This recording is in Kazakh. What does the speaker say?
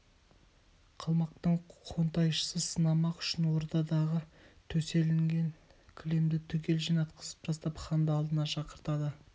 қалмақтың хонтайшысы сынамақ үшін ордадағы төселген кілемді түгел жинатқызып тастап ханды алдына шақыртады